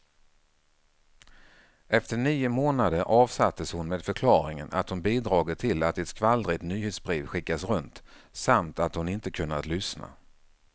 Efter nio månader avsattes hon med förklaringen att hon bidragit till att ett skvallrigt nyhetsbrev skickats runt, samt att hon inte kunnat lyssna.